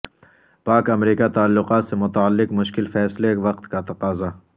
پاک امریکہ تعلقات سے متعلق مشکل فیصلے وقت کا تقاضا